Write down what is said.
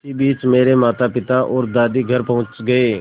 इसी बीच मेरे मातापिता और दादी घर पहुँच गए